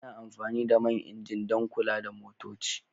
Ana amfani da man injin dan kula da motoci.